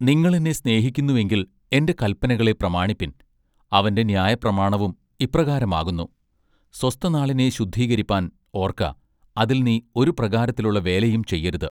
നിങ്ങളെന്നെ സ്നേഹിക്കുന്നു എങ്കിൽ എന്റെ കല്പനകളെ പ്രമാണിപ്പിൻ' അവന്റെ ന്യായപ്രമാണവും ഇപ്രകാരം ആകുന്നു:-സ്വസ്ഥനാളിനെ ശുദ്ധീകരിപ്പാൻ ഓർക്ക അതിൽ നീ ഒരു പ്രകാരത്തിലുള്ള വേലയും ചെയ്യരുത്".